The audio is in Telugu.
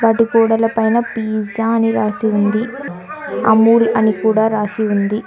వాటి గోడల పైన పిజ్జా అని రాసి ఉంది అముల్ అని కూడా రాసి ఉంది.